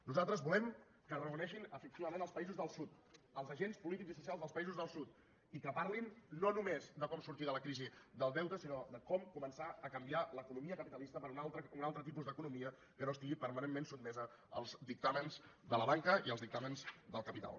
nosaltres volem que es reuneixen efectivament els països del sud els agents polítics i socials dels països del sud i que parlin no només de com sortir de la crisi del deute sinó de com començar a canviar l’economia capitalista per un altre tipus d’economia que no estigui permanentment sotmesa als dictàmens de la banca i als dictàmens del capital